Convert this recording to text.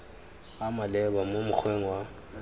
a maleba mo mokgweng wa